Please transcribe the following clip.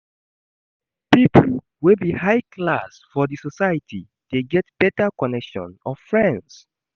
Pipo wey be high class for di society de get better connection of friends